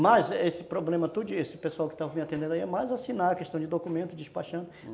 Mas esse problema todo, esse pessoal que está me atendendo aí, é mais assinar a questão de documento, despachando.